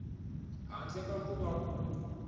handle ka ku va ku